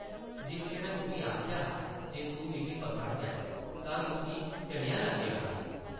जिसलै में तुगी आखेआ हा जे तूं मिगी पसंद ऐ, तां तुगी कनेहा लग्गेआ हा?